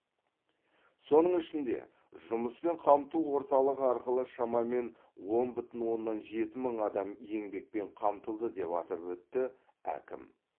соның ішінде жұмыспен қамту орталығы арқылы шамамен он бүтін оннан жеті мың адам еңбекпен қамтылды деп атап өтті әкім